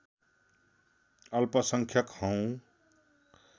अल्पसंख्यक हौँ